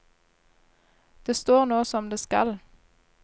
Det står nå som det skal.